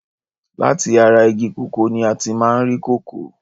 Láti ara igi kòkó ní a ti máa ń rí kòkó.